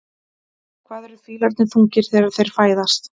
Hvað eru fílar þungir þegar þeir fæðast?